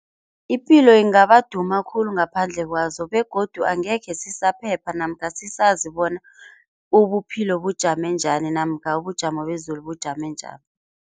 Ipilo ingaba duma khulu ngaphandle kwazo begodu angekhe sisaphepha namkha sisazi bona ubuphilo bujame njani namkha ubujamo bezulu bujame njani.